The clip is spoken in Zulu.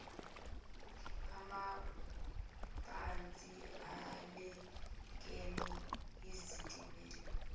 amabhasi alekene izitimela